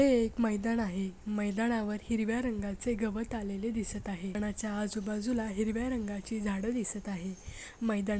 हे एक मैदान आहे मैदानावर हिरव्या रंगाचे गवत आलेले दिसत आहे कोणाच्या आजूबाजूला हिरव्या रंगाची झाड दिसत आहे मैदान --